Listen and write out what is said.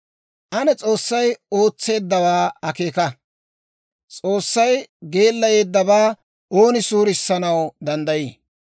Ane S'oossay ootseeddawaa akeeka! S'oossay geellayeeddabaa ooni suurissanaw danddayii?